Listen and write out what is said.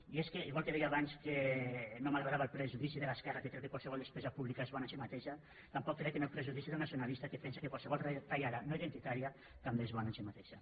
i és que igual que deia abans que no m’agradava el prejudici de l’esquerra que creu que qualsevol despesa pública és bona en si mateixa tampoc crec en el prejudici del nacio nalista que pensa que qualsevol retallada no identitària també és bona en si mateixa